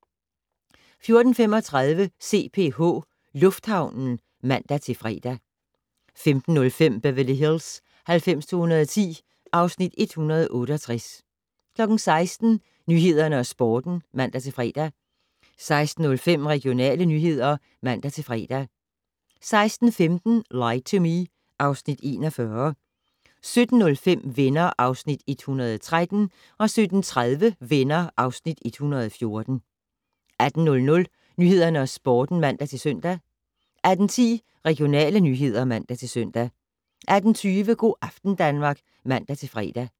14:35: CPH Lufthavnen (man-fre) 15:05: Beverly Hills 90210 (Afs. 168) 16:00: Nyhederne og Sporten (man-fre) 16:05: Regionale nyheder (man-fre) 16:15: Lie to Me (Afs. 41) 17:05: Venner (Afs. 113) 17:30: Venner (Afs. 114) 18:00: Nyhederne og Sporten (man-søn) 18:10: Regionale nyheder (man-søn) 18:20: Go' aften Danmark (man-fre)